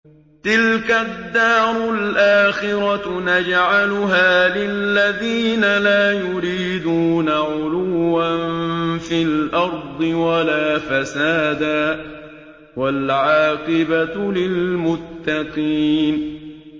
تِلْكَ الدَّارُ الْآخِرَةُ نَجْعَلُهَا لِلَّذِينَ لَا يُرِيدُونَ عُلُوًّا فِي الْأَرْضِ وَلَا فَسَادًا ۚ وَالْعَاقِبَةُ لِلْمُتَّقِينَ